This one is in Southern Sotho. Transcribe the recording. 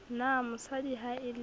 na mosadi ha e le